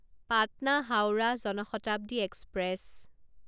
Patna Howrah Jan Shatabdi express